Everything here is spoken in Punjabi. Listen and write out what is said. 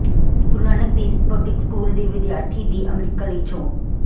ਗੁਰੂ ਨਾਨਕ ਦੇਵ ਪਬਲਿਕ ਸਕੂਲ ਦੇ ਵਿਦਿਆਰਥੀ ਦੀ ਅਮਰੀਕਾ ਲਈ ਚੋਣ